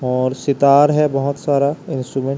और सितार है बहोत सारा इंस्ट्रूमेंट --